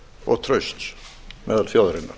og trausts meðal þjóðarinnar